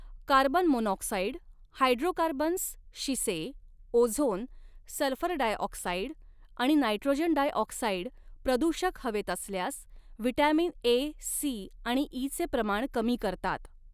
Carbon monoxide hydrocarbons शिसे ozone sulphur डायऑक्साईडआणि nitrogen dioxide प्रदूषक हवेत असल्यास व्हिटॅमिन ए सी आणि इ चे प्रमाण कमी करतात.